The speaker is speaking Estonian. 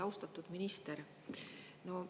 Austatud minister!